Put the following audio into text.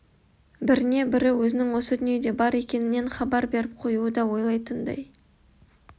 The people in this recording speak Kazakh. біріне бірі өзінің осы дүниеде бар екенінен хабар беріп қоюды да ойлайтындай